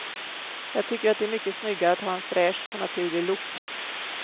Jag tycker att det är mycket snyggare att ha en fräsch och naturlig look.